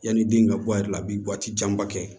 Yanni den ka bɔ a yɛrɛ la a bɛ bɔ waati janba kɛ